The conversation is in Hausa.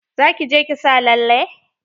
Za ki je ki sa lalle?